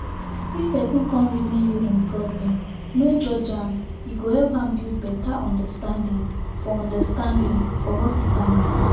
if person come reason you im problem no judge am e go help am build better understanding for understanding for hospital matter